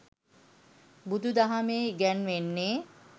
බුදු දහමෙහි ඉගැන්වෙන්නේ